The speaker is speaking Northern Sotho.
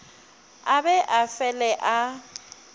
a be a fele a